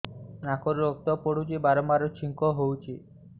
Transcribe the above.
ନାକରୁ ରକ୍ତ ପଡୁଛି ବାରମ୍ବାର ଛିଙ୍କ ହଉଚି